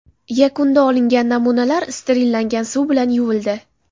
Yakunda olingan namunalar sterillangan suv bilan yuvildi.